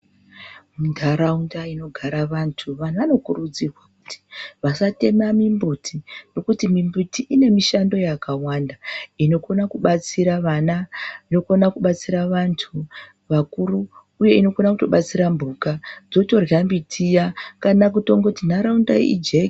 Nharaunda inogara vantu ,vantu vanokurudzirwa kuti vasatema mimbuti nekuti mimbuti ine mishando yakawanda inokona kubatsira vana, inokona kubatsira vantu vakuru uye inokone kutobatsira mhuka dzotorya miti iya kana kundoti nharaunda ijeke.